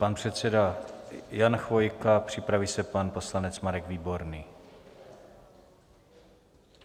Pan předseda Jan Chvojka, připraví se pan poslanec Marek Výborný.